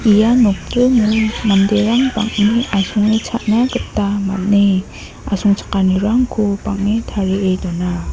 ia nokdringo manderang bang·e asonge cha·na gita man·e asongchakanirangko bang·e tarie dona.